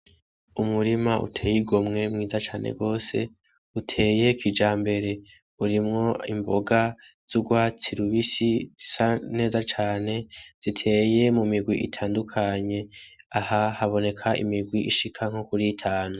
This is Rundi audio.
Umurima uteye igomwe mwiza cane rwose uteye kija mbere urimwo imboga z'urwa tirubisi zisa neza cane ziteye mu migwi itandukanye aha haboneka imigwi ishika nko kuri itanu.